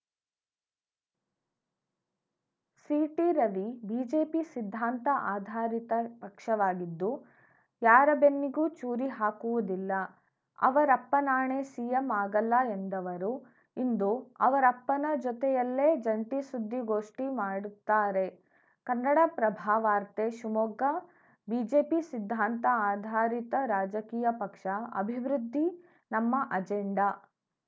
C T Ravi BJP ಸಿದ್ಧಾಂತ ಆಧಾರಿತ ಪಕ್ಷವಾಗಿದ್ದು ಯಾರ ಬೆನ್ನಿಗೂ ಚೂರಿ ಹಾಕುವುದಿಲ್ಲ ಅವರಪ್ಪನಾಣೆ ಸಿಎಂ ಆಗಲ್ಲ ಎಂದವರು ಇಂದು ಅವರಪ್ಪನ ಜೊತೆಯಲ್ಲೇ ಜಂಟಿ ಸುದ್ದಿಗೋಷ್ಠಿ ಮಾಡುತ್ತಾರೆ ಕನ್ನಡಪ್ರಭ ವಾರ್ತೆ ಶಿವಮೊಗ್ಗ ಬಿಜೆಪಿ ಸಿದ್ಧಾಂತ ಆಧಾರಿತ ರಾಜಕೀಯ ಪಕ್ಷ ಅಭಿವೃದ್ಧಿ ನಮ್ಮ ಅಜೆಂಡಾ